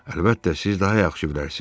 Əlbəttə, siz daha yaxşı bilərsiz.